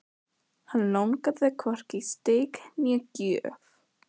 Hann langaði hvorki í steik né gjöf.